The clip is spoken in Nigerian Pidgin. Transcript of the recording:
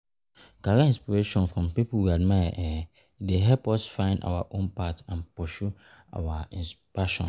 Career inspiration from people we admire dey help us find our own path and pursue our passions.